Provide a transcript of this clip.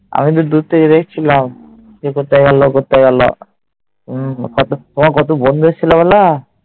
আমি তো দূর থেকে দেখছিলাম যে কোথায় গেল, কোথায় গেল। তোমার কত বন্ধু এসেছিল বলো।